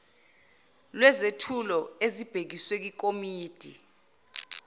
lwezethulo ezibhekiswe kwikomidi